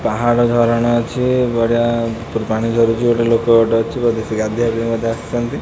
ପାହାଡ ଝରଣା ଅଛି ବଢିଆ ଉପରୁ ପାଣି ଝରୁଚି ଗୋଟେ ଲୋକ ଗୋଟେ ଅଛି ବୋଧେ ସେ ଗାଧେଇବା ପାଇଁ ବୋଧେ ସେ ଆସିଚନ୍ତି।